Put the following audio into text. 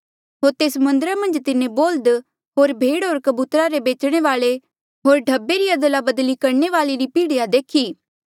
होर तेस मन्दरा मन्झ तिन्हें बोल्ह्द होर भेड होर कबूतरा रे बेचणे वाले होर ढब्बे री अदलाबदली करणे वाले री पीढ़िया देखी